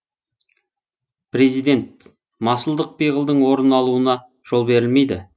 президент масылдық пиғылдың орын алуына жол берілмейді